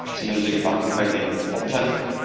sind unsere Gedanken bei den Opfern.